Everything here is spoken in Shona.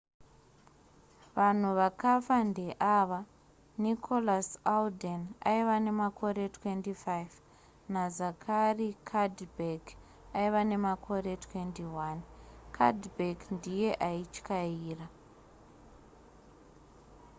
vanhu vakafa ndeava nicholas alden aiva nemakore 25 nazachary cuddeback aiva nemakore 21 cuddeback ndiye aityaira